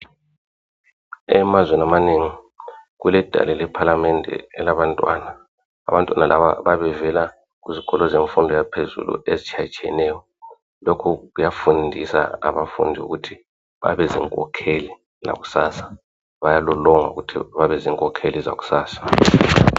Emazweni amanengi kuledale lephalamende elabantwana abantwana laba babevela kuzikolo zemfundo yaphezulu ezitshiyatshiyeneyo lokhu kuyafundisa abafundi ukuthi babezinkokheli zakusasa bayalolonga ukuthi babezinkokheli zakusasa.